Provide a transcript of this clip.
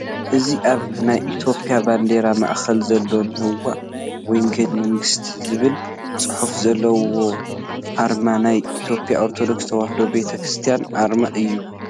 እዚ ኣብ ናይ ኢትዮጵያ ባንዲራ ማእኸል ዘሎ ነዋ ወንጌለ መንግሥት ዝብል ፅሑፍ ዘለዎ ኣርማ ናይ ኢትዮጵያ ኦርቶዶክስ ተዋህዶ ቤተ ክርስቲያን ኣርማ እዩ፡፡